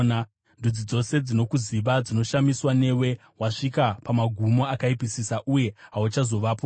Ndudzi dzose dzaikuziva dzinoshamiswa newe; wasvika pamagumo akaipisisa uye hauchazovapozve.’ ”